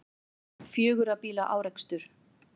Fjögurra bíla árekstur